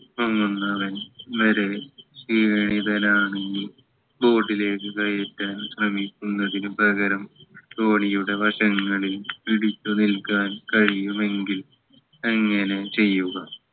മുങ്ങുന്നവൻ ക്ഷീണിതനാണെങ്കിൽ boat ലേക്ക് കയറ്റാൻ ശ്രമിക്കുന്നതിന് പകരം തോണിയുടെ വശങ്ങളിൽ പിടിച്ചു നില്ക്കാൻ കഴിയുമെങ്കിൽ അങ്ങനെ ചെയ്യുക